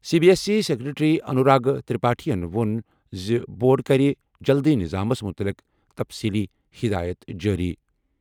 C B S E secretary Anurag ترپاٹھین ووٚن زِ بورڈ کَرِ جلدٕیہ نِظامَس مُتعلِق تَفصیٖلی ہِدایَت جٲری۔